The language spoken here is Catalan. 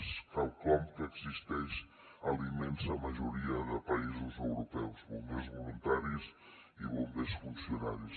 és quelcom que existeix a la immensa majoria de països europeus bombers voluntaris i bombers funcionaris